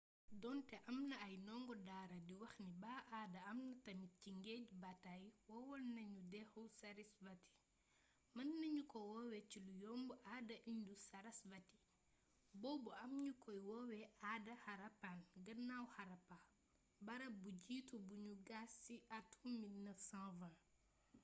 doonte amna ay ndongo daara di wax ni ba aada ame tamit ci ngéej bataay wowalna dexu sarasvati mën nañuko wowe ci lu yomb aada indus-sarasvati bobu am ñukoy wowe aada harappan gannaaw harappa barap bu jitu buñu gas ci atum 1920s